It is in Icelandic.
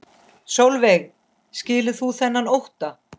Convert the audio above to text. Sólveig: Skilur þú þennan ótta?